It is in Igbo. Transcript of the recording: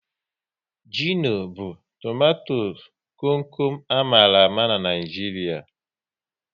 Gịno bụ tomato kom kom a mara ama n'Naijiria